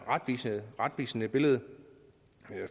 retvisende billede